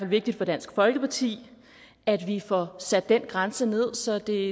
vigtigt for dansk folkeparti at vi får sat den grænse ned så det